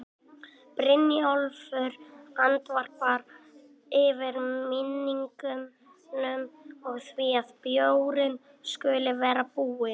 Brynjólfur andvarpar, yfir minningunum og því að bjórinn skuli vera búinn.